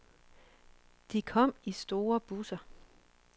De kom i store busser.